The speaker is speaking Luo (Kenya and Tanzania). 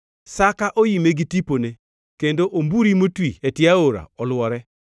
Saka oime gi tipone; kendo omburi motwi e tie aora olwore.